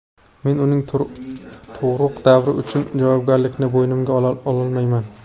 Men uning tug‘uruq davri uchun javobgarlikni bo‘ynimga ololmayman.